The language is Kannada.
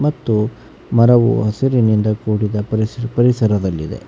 ಮತ್ತು ಮರವು ಹಸಿರಿನಿಂದ ಕೂಡಿದ ಪರಿಸ ಪರಿಸರದಲ್ಲಿದೆ.